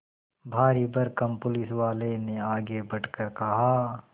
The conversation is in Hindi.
भारीभरकम पुलिसवाले ने आगे बढ़कर कहा